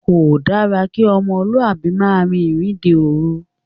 Kò dára kí ọmọlúàbí máa rin ìrìnde òòru